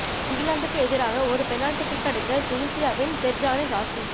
இங்கிலாந்துக்கு எதிராக ஒரு பெனால்டி கிக் அடித்த துனிசியாவின் பெர்ஜானி சாஸ்ஸி